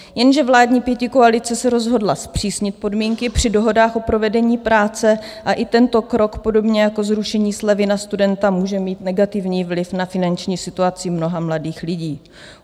Jenže vládní pětikoalice se rozhodla zpřísnit podmínky při dohodách o provedení práce a i tento krok, podobně jako zrušení slevy na studenta, může mít negativní vliv na finanční situaci mnoha mladých lidí.